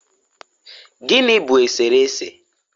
gịnị bụ eserese?